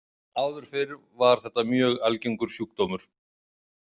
Áður fyrr var þetta mjög algengur sjúkdómur.